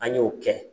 An y'o kɛ